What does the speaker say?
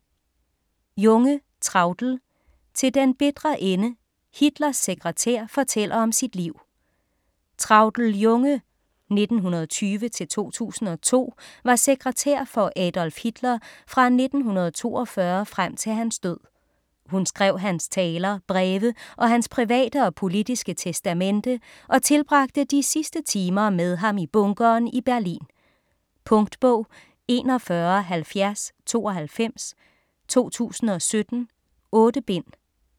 Junge, Traudl: Til den bitre ende: Hitlers sekretær fortæller om sit liv Traudl Junge (1920-2002) var sekretær for Adolf Hitler fra 1942 frem til hans død. Hun skrev hans taler, breve og hans private og politiske testamente og tilbragte de sidste timer med ham i bunkeren i Berlin. Punktbog 417092 2017. 8 bind.